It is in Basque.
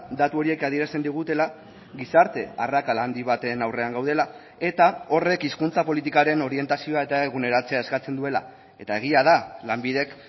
datu horiek adierazten digutela gizarte arrakala handi baten aurrean gaudela eta horrek hizkuntza politikaren orientazioa eta eguneratzea eskatzen duela eta egia da lanbidek